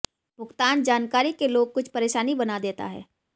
भुगतान जानकारी के लोग कुछ परेशानी बना देता है